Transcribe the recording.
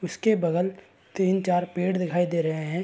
उसके बगल तीन चार पेड़ दिखाई दे रहे हैं।